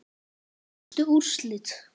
Helstu úrslit